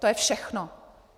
To je všechno.